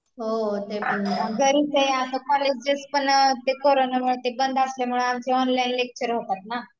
घरीच आहे, आणि ते कोरोनामुळे कॉलेज बंद असल्यामुळे आमचे ऑनलाईन लेक्चर होतात ना